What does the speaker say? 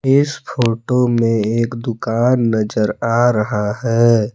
इस फोटो में एक दुकान नजर आ रहा है।